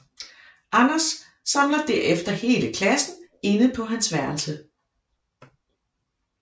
Anders samler derefter hele klassen inde på hans værelse